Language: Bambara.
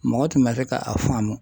Mɔgɔ tun bɛna kɛ ka a faamu